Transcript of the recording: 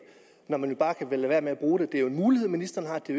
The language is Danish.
når man jo bare kan lade være med at bruge det det er jo en mulighed ministeren har det